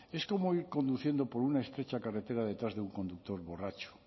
es como ir conduciendo por una estrecha carretera detrás de un conductor borracho